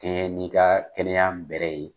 kɛɲɛ n'i ka kɛnɛyaya bɛrɛ ye.